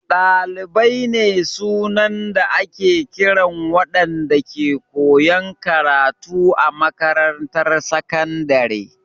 Dalibai ne sunan da ake kiran waɗanda ke koyan karatu a makarantar sakandare.